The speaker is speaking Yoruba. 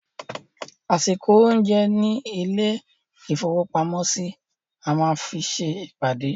Àsìkò oúnjẹ ní ilé-ìfowópamọ́sí, a máa fi se ìpàdé.